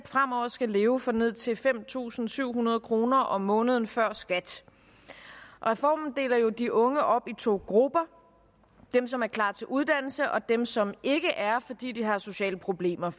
fremover skal leve for ned til fem tusind syv hundrede kroner om måneden før skat reformen deler jo de unge op i to grupper dem som er klar til uddannelse og dem som ikke er fordi de har sociale problemer